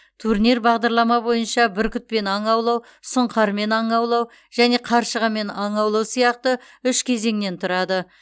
турнир бағдарлама бойынша бүркітпен аң аулау сұңқармен аң аулау және қаршығамен аң аулау сияқты үш кезеңнен тұрады